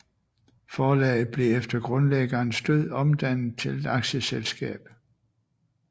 Forlaget blev efter grundlæggerens død omdannet til et aktieselskab